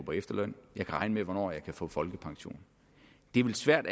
på efterløn jeg kan regne med hvornår jeg kan få folkepension det er vel svært